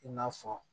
I n'a fɔ